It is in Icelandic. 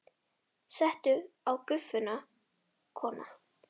Settu á Gufuna, kona!